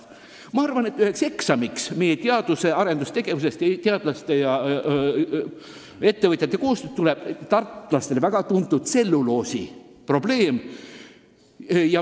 Ma arvan, et üht eksamit meie teadus- ja arendustegevuses, teadlaste ja ettevõtjate koostöös hakkab endast kujutama tartlastele väga tuntud tselluloosiprobleemi lahendamine.